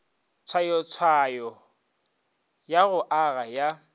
tshwayotshwayo ya go aga ya